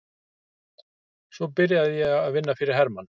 Svo byrjaði ég að vinna fyrir Hermann